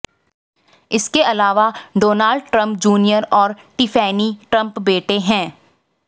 इसके अलावा Donald Trump junior और टिफैनी ट्रंप बेटे हैं